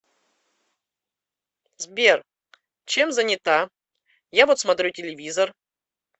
сбер чем занята я вот смотрю телевизор